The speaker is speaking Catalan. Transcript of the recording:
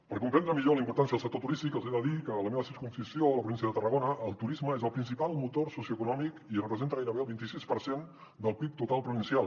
per comprendre millor la importància del sector turístic els he de dir que a la meva circumscripció a la província de tarragona el turisme és el principal motor socioeconòmic i representa gairebé el vint i sis per cent del pib total provincial